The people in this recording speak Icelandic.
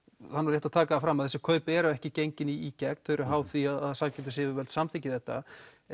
rétt að taka það fram að þessi kaup eru ekki gengin í gegn þau eru háð því að samkeppnisyfirvöld samþykki þetta